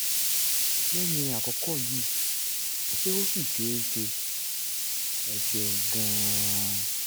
lẹ́yìn àkókò yìí ṣé ó ṣì ṣeé ṣe? ẹ ṣeun gan-an